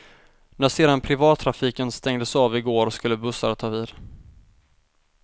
När sedan privattrafiken stängdes av i går skulle bussar ta vid.